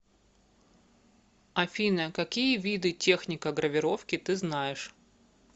афина какие виды техника гравировки ты знаешь